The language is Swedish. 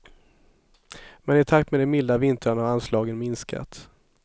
Men i takt med de milda vintrarna har anslagen minskat.